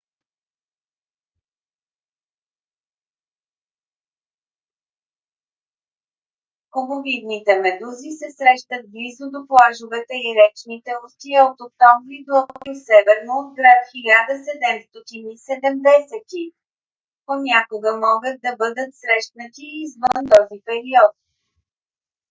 кубовидните медузи се срещат близо до плажовете и речните устия от октомври до април северно от град 1770. понякога могат да бъдат срещнати и извън този период